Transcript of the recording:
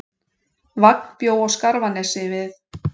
Vagn bjó á Skarfanesi við